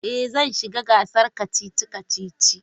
Ee, zan shiga gasar kacici-kacici.